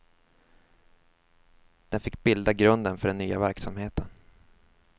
Den fick bilda grunden för den nya verksamheten.